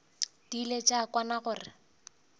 di ile tša kwana gore